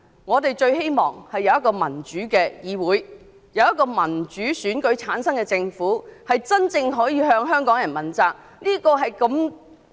我最希望有一個民主的議會及一個由民主選舉產生的政府，可以真正向香港人負責。